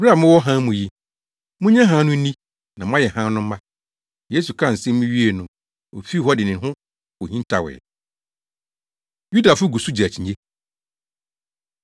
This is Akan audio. Bere a mowɔ hann mu yi, munnye hann no nni na moayɛ hann no mma.” Yesu kaa nsɛm yi wiee no, ofii hɔ de ne ho kohintawee. Yudafo Gu So Gye Akyinnye